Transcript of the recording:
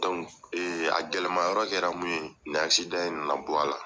a gɛlɛma yɔrɔ kɛra mun ye nin in na na bɔ a la.